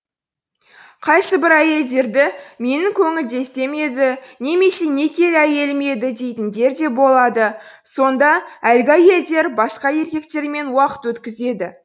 қайсыбір әйелдерді менің көңілдесім еді немесе некелі әйелім еді дейтіндер де болады сонда әлгі әйелдер басқа еркектермен уақыт өткізеді